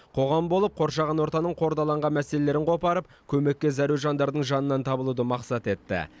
қоғам болып қоршаған ортаның қордаланған мәселелерін қопарып көмекке зәру жандардың жанынан табылуды мақсат етті